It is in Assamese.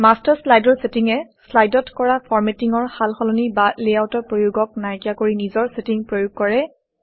মাষ্টাৰ শ্লাইডৰ চেটিঙে শ্লাইডত কৰা ফৰমেটিঙৰ সাল সলনি বা লেআউটৰ প্ৰয়োগক নাইকিয়া কৰি নিজৰ চেটিং প্ৰয়োগ কৰে